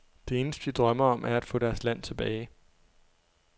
Det eneste, de drømmer om, er at få deres land tilbage.